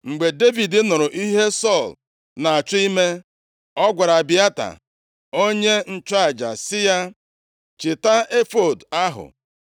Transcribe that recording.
Mgbe Devid nụrụ ihe Sọl na-achọ ime, ọ gwara Abịata onye nchụaja sị ya, “Chịta efọọd ahụ.” + 23:9 \+xt Ọnụ 27:21; 1Sa 23:6; 30:7\+xt*